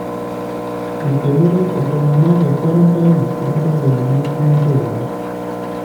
Eikenero iltung'ana te kwarantain toonkotelini eshumata oleng.